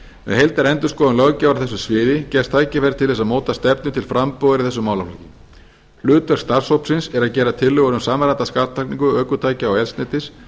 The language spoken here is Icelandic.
með heildarendurskoðun löggjafar á þessu sviði gefst tækifæri til að móta stefnu til frambúðar í þessum málaflokki hlutverk starfshópsins er að gera tillögur um samræmda skattlagningu ökutækja og eldsneytis